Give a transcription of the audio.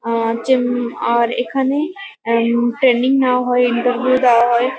আর চেম আর এখানে এম ট্রেনিং নেওয়া হয় ইন্টারভিউ দেওয়া হয়।